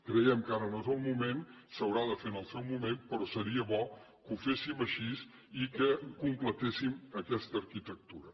creiem que ara no és el moment s’haurà de fer en el seu moment però seria bo que ho féssim així i que completéssim aquesta arquitectura